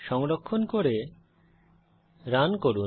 সংরক্ষণ করে রান করুন